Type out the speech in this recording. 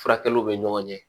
Furakɛliw bɛ ɲɔgɔn ɲɛ